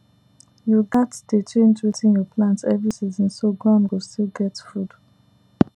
you gats dey change wetin you plant every season so ground go still get food